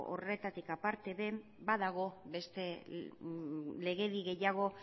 horretatik aparte den badago beste legedi gehiago